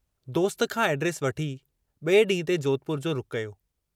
दोस्त खां एड्रेस वठी, बिए ॾींहं ते जोधपुर जो रुखु़ कयो।